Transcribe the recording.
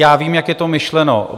Já vím, jak je to myšleno.